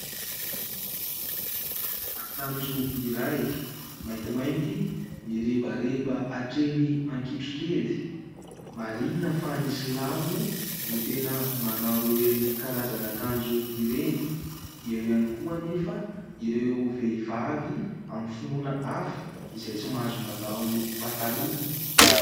Akanjo iray maintimainty mirebareba hatreny hakitrokely marihina fa ny silamo no tena manao ireny karazana akanjo ireny. Eo ihany koa anefa ireo vehivavy amin'ny finoana hafa izay tsy mahazo manao pataloha